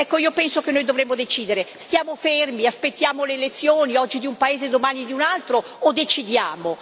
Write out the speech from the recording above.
Ecco io penso che noi dovremo decidere stiamo fermi, aspettiamo le elezioni oggi di un paese, domani di un altro o decidiamo?